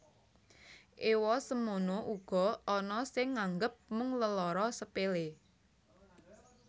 Ewa semono uga ana sing nganggep mung lelara sepele